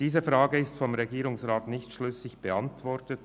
Diese Frage wird vom Regierungsrat nicht schlüssig beantwortet.